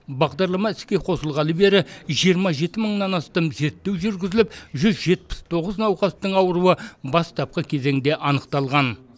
бағдарлама іске қосылғалы бері жиырма жеті мыңнан астам зерттеу жүргізіліп жүз жетпіс тоғыз науқастың ауруы бастапқы кезеңде анықталған